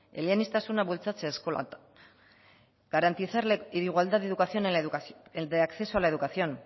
eleaniztasuna bultzatzea eskolan garantizar de igual de educación en la educación el de acceso a la educación